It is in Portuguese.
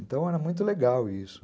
Então era muito legal isso.